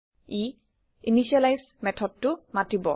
ই initializeইনিচিয়েলাইজ মেথডেটো মাতিব